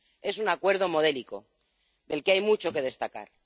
Es un Acuerdo modélico del que hay mucho que destacar.